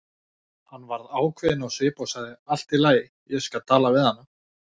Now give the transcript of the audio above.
Hann varð ákveðinn á svip og sagði: Allt í lagi, ég skal tala við hana